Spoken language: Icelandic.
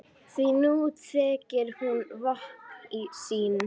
Því nú þekkir hún vopn sín.